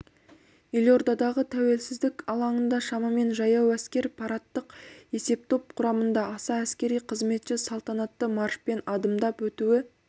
елордадағы тәуелсіздік алаңында шамамен жаяу әскер парадтық есептоп құрамында аса әскери қызметші салтанатты маршпен адымдап өтуі